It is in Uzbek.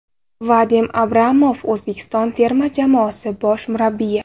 Vadim Abramov O‘zbekiston terma jamoasi bosh murabbiyi.